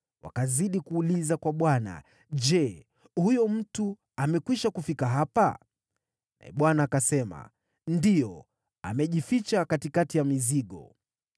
Wakazidi kuuliza kwa Bwana , “Je, huyo mtu amekwisha kufika hapa?” Naye Bwana akasema, “Ndiyo, amejificha katikati ya mizigo.”